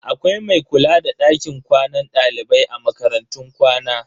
Akwai mai kula da dakin kwanan dalibai a makarantun kwana.